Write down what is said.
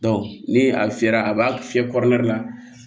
ni a fiyɛra a b'a fiyɛ kɔrɛ la